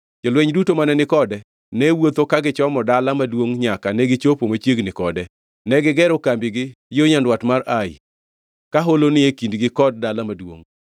Jolweny duto mane ni kode ne wuotho ka gichomo dala maduongʼ nyaka negichopo machiegni kode. Negigero kambigi yo nyandwat mar Ai, ka holo ni e kindgi kod dala maduongʼ.